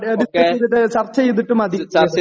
discuss ചെയ്തിട്ട് ചർച്ച ചെയ്തിട്ടു മതി